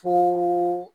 Ko